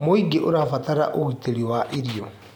Mũingĩ ũrabatara ũgitĩri wa irio.